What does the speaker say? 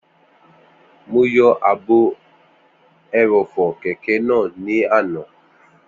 Mo yọ ààbò ẹrọ̀fọ̀ kẹ̀kẹ́ náà ní àná